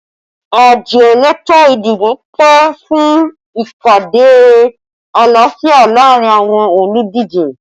Àjọ elétò ìdìbò pè fún ìpàdé àlàáfíà laarin awọn oludije